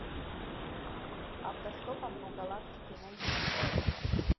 автостопом по галактике найти